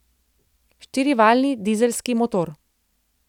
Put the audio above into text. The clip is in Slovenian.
Štirivaljni dizelski motor.